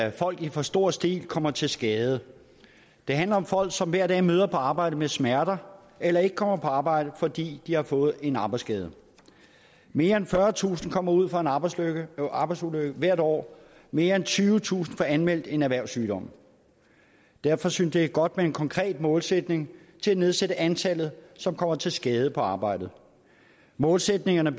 at folk i for stor stil kommer til skade det handler om folk som hver dag møder på arbejde med smerter eller ikke kommer på arbejde fordi de har fået en arbejdsskade mere end fyrretusind kommer ud for en arbejdsulykke arbejdsulykke hvert år og mere end tyvetusind får anmeldt en erhvervssygdom derfor synes jeg det er godt med en konkret målsætning til at nedsætte antallet som kommer til skade på arbejdet målsætningerne